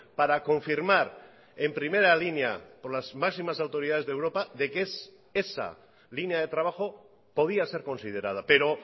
para confirmar en primera línea por las máximas autoridades de europa de que es esa línea de trabajo podía ser considerada pero